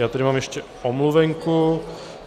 Já tady mám ještě omluvenku.